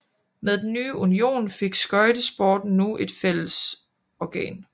Med den nye union fik skøjtesporten nu et fællesorgan